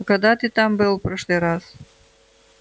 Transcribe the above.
а когда ты там был в прошлый раз